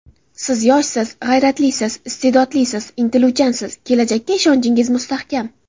Siz yoshsiz, g‘ayratlisiz, iste’dodlisiz, intiluvchansiz, kelajakka ishonchingiz mustahkam.